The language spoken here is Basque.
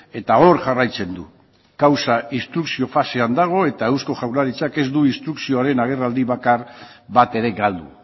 eta hor jarraitzen du kausa instrukzio fasean dago eta eusko jaurlaritzak ez du instrukzioaren agerraldi bakar bat ere galdu